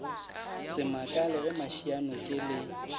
se makale ge mašianoke le